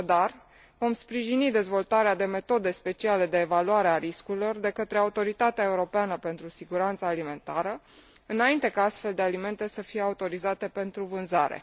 Așadar, vom sprijini dezvoltarea de metode speciale de evaluare a riscurilor de către Autoritatea europeană pentru siguranță alimentară, înainte ca astfel de alimente să fie autorizate pentru vânzare.